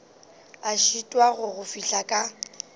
a šitwago go fihla ka